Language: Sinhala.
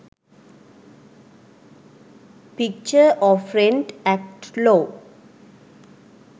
picture of rent act law